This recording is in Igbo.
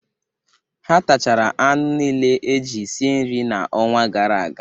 Ha tachara anụ nile eji sie nri n'ọnwa gara aga.